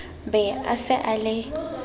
be a se a le